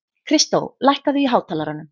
Kristó, lækkaðu í hátalaranum.